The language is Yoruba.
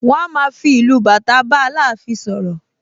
Wọ́n a máa fi ìlù bàtà bá Aláàfin sọ̀rọ̀